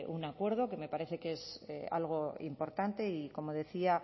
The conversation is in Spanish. un acuerdo que me parece que es algo importante y como decía